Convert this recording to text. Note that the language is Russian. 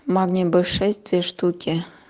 магний б шесть две штуки